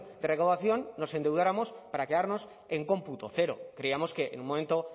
de recaudación nos endeudáramos para quedarnos en cómputo cero creíamos que en un momento